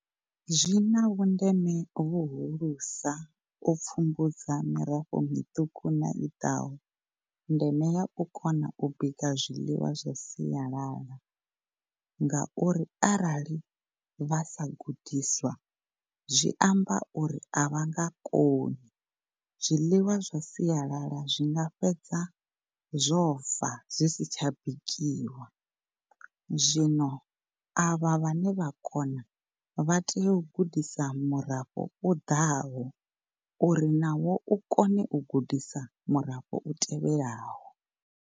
Zwina vhundeme vhuhulusa u pfumbudza mirafho miṱuku na i ḓaho. Ndeme ya u kona u bika zwiḽiwa zwa sialala ngauri arali vha sa gudiswa zwi amba uri avha nga koni zwiḽiwa zwa sialala zwinga fhedza zwo fa zwisi tsha bikiwa zwino avha vhane vha kona vha tea u gudisa murafho u ḓaho uri nawo u kone u gudisa murafho u tevhelaho.